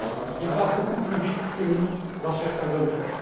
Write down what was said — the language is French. Il va beaucoup plus vite que nous dans certains domaines.